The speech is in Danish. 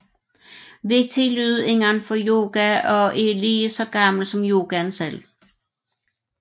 Vigtig lyd inden for yoga og er lige så gammel som yogaen selv